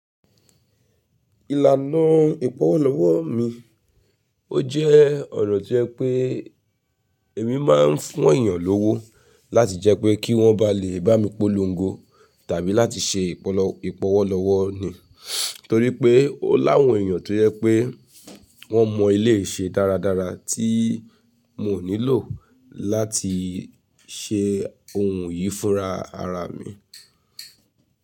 Ìlànà ì-pọ́wọ́ lọ́wọ́ mi, ó jẹ́ ọ̀nà tí ẹ pé èmi má ń fún èyàn lówó láti jẹ́ pé kí wọ́n bá lè bá mi polongo tàbí láti ṣe ìpolówó ì-pọ́wọ́ lọ́wọ́ ni. Torí pé ó láwọn èyàn tó yẹ pé wọ́n mọ eléyìí iṣẹ́ dáradára tí mo nílò láti ṣe ohun yìí fúnra ara mi.